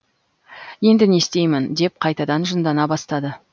енді не істеймін деп қайтадан жындана бастады